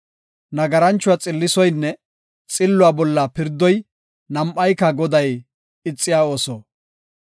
Nagaranchuwa xillisoynne xilluwa bolla pirdoy, nam7ayka Goday ixiya ooso.